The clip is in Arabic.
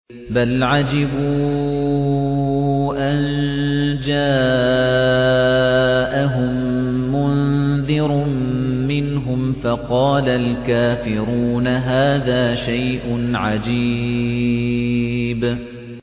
بَلْ عَجِبُوا أَن جَاءَهُم مُّنذِرٌ مِّنْهُمْ فَقَالَ الْكَافِرُونَ هَٰذَا شَيْءٌ عَجِيبٌ